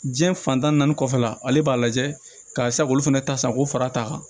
Diɲɛ fantan naani kɔfɛla ale b'a lajɛ karisa k'olu fana ta san k'o fara a kan